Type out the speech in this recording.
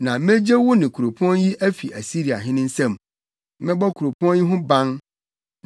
Na megye wo ne kuropɔn yi afi Asiriahene nsam. Mɛbɔ kuropɔn yi ho ban.